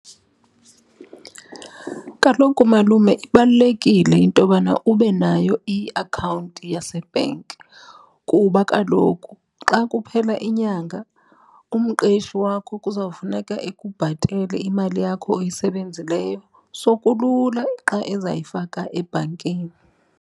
Kaloku, malume, ibalulekile intobana ube nayo iakhawunti yasebhenki kuba kaloku xa kuphela inyanga umqeshi wakho kuzawufuneka ekubhatalele imali yakho oyisebenzileyo. So, kulula xa ezayifaka ebhankini.